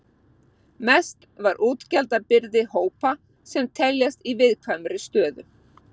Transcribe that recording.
Mest var útgjaldabyrði hópa sem teljast í viðkvæmri stöðu.